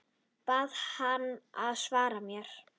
Bað hana að svara mér.